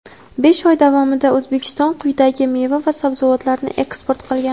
Besh oy davomida O‘zbekiston quyidagi meva va sabzavotlarni eksport qilgan:.